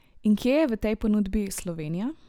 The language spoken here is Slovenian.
In kje je v tej ponudbi Slovenija?